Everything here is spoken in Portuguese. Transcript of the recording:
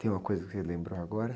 Tem uma coisa que você lembrou agora?